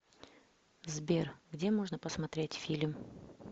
сбер где можно посмотреть фильм